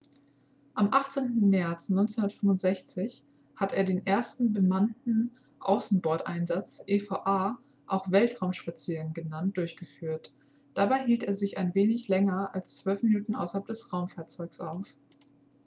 am 18. märz 1965 hat er den ersten bemannten außenboardeinsatz eva auch weltraumspaziergang genannt durchgeführt. dabei hielt er sich ein wenig länger als zwölf minuten außerhalb des raumfahrzeugs auf